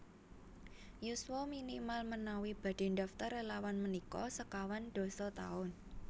Yuswa minimal menawi badhe ndaftar relawan menika sekawan dasa taun